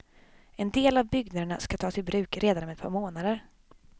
En del av byggnaderna skall tas i bruk redan om ett par månader.